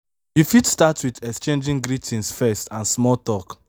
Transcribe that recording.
you fit start with exchanging greetings first and small talk